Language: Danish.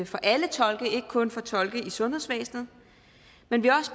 for alle tolke ikke kun for tolke i sundhedsvæsenet men vi